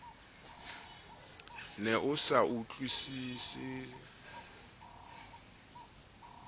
ne a sa utlwisise a